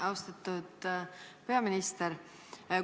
Austatud peaminister!